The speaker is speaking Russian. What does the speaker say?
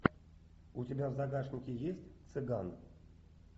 у тебя в загашнике есть цыган